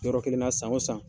Yɔrɔ kelenna san san